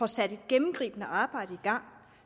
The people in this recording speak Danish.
sat et gennemgribende arbejde i gang